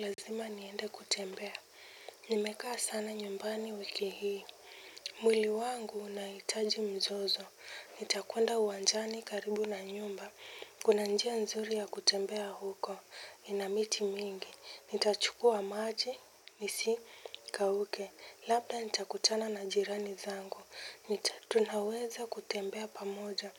Lazima niende kutembea. Nimekaa sana nyumbani wiki hii. Mwili wangu unahitaji mzozo. Nita kwenda uwanjani karibu na nyumba. Kuna njia nzuri ya kutembea huko. Inamiti mingi. Nitachukua maji. Nisikauke. Labda nitakutana na jirani zangu. Tunaweza kutembea pamoja.